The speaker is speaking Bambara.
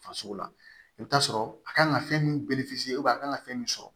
Farisogo la i bɛ t'a sɔrɔ a kan ka fɛn min a kan ka fɛn min sɔrɔ